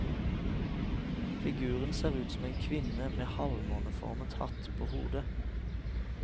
Figuren ser ut som en kvinne med halvmåneformet hatt på hodet.